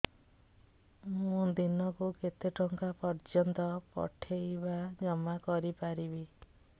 ମୁ ଦିନକୁ କେତେ ଟଙ୍କା ପର୍ଯ୍ୟନ୍ତ ପଠେଇ ବା ଜମା କରି ପାରିବି